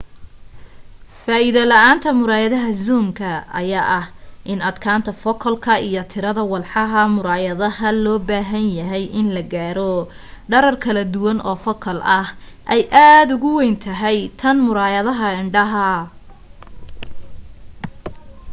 faa'iido la'aanta muraayadaha zoomka ayaa ah in adkaanta focal iyo tirada walxaha muraayadaha loo baahan yahay in la gaaro dherer kala duwan oofocal ah ay aad ugu weyn tahay tan muraayadaha indhaha